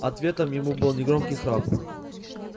ответом ему был негромкий храп